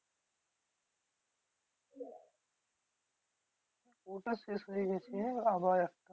ওটা শেষ হয়ে গেছে আবার একটা